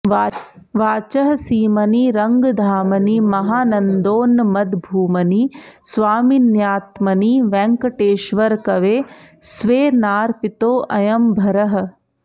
वाचः सीमनि रङ्गधामनि महानन्दोन्नमद्भूमनि स्वामिन्यात्मनि वेङ्गटेश्वरकवेः स्वेनार्पितोऽयं भरः